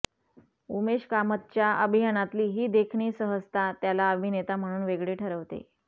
उमेश कामतच्या अभिनयातली ही देखणी सहजता त्याला अभिनेता म्हणून वेगळी ठरवते